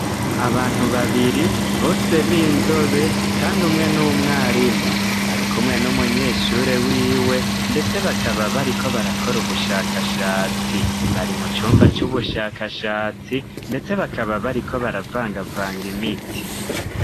Abantu babiri bose b'inzobe kandi umwe n'umwarimu, arikumwe n'umunyeshure wiwe ndetse bakaba bariko barakora ubushakashatsi, bari mu cumba c'ubushakashatsi ndetse bakaba bariko baravangavanga imiti.